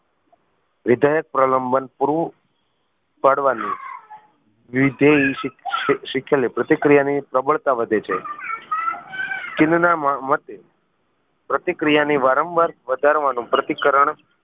વિધાયક પ્રલંબન પૂરું પાડવાની વિધય શીખેલી પ્રતિક્રિયા ની પ્રબળતા વધે છે કિન્ડ ના મતે પ્રતિક્રિયા ની વારંવાર વધારવાનું પ્રતિકરણ